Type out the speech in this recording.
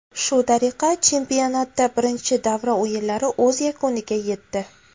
Shu tariqa chempionatda birinchi davra o‘yinlari o‘z yakuniga yetdi.